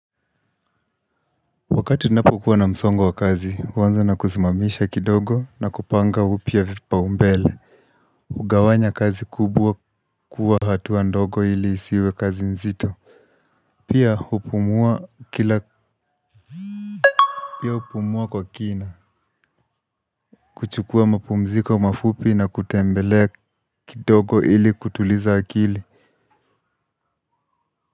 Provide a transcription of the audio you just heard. Wakati napokuwa na msongo wa kazi huanza na kusimamisha kidogo na kupanga upya vipaumbele hugawanya kazi kubwa kuwa hatua ndogo ili isiwe kazi nzito. Pia hupumua kila pia hupumua kwa kina. Kuchukua mapumziko mafupi na kutembelea kidogo ili kutuliza akili.